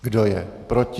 Kdo je proti?